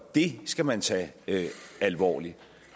det skal man tage alvorligt